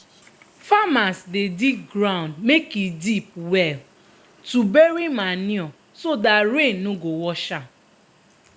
farmers dey dig ground make e deep well to bury manure so dat rain no go wash am.